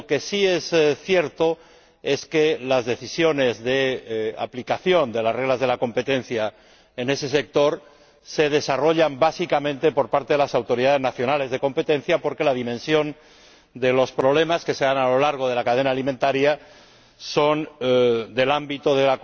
Lo que sí es cierto es que las decisiones de aplicación de las reglas de la competencia en ese sector son desarrolladas básicamente por parte de las autoridades nacionales de competencia porque la dimensión de los problemas que se dan a lo largo de la cadena alimentaria son del ámbito de